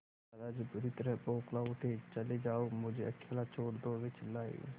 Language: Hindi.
दादाजी बुरी तरह बौखला उठे चले जाओ मुझे अकेला छोड़ दो वे चिल्लाए